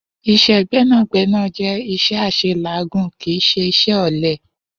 Is̩é̩ gbé̩nàgbé̩nà jé̩ is̩é̩ às̩elàágùn, kì í s̩e is̩é̩ ò̩le̩